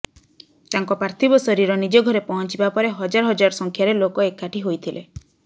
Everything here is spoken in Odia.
ତାଙ୍କ ପାର୍ଥିବ ଶରୀର ନିଜ ଘରେ ପହଞ୍ଚିବା ପରେ ହଜାର ହଜାର ସଂଖ୍ୟାରେ ଲୋକ ଏକାଠି ହୋଇଥିଲେ